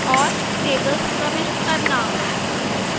tables प्रविष्ट करना